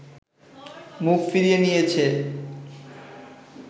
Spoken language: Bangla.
মুখ ফিরিয়ে নিয়েছে